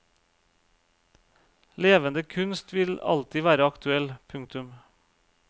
Levende kunst vil alltid være aktuell. punktum